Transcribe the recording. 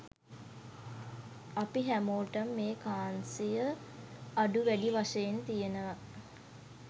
අපි හැමෝටම මේ කාන්සිය අඩු වැඩි වශයෙන් තියෙනව.